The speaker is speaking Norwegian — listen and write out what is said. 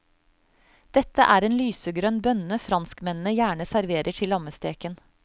Dette er en lysegrønn bønne franskmennene gjerne serverer til lammesteken.